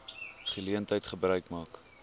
geleentheid gebruik maak